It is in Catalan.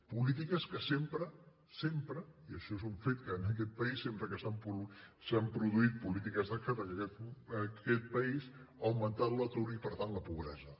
polítiques que sempre sempre i això és un fet en aquest país sempre que s’han produït polítiques d’esquerra en aquest país ha augmentat l’atur i per tant la pobresa